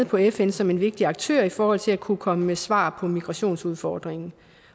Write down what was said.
på fn som en vigtig aktør i forhold til at kunne komme med svar på migrationsudfordringen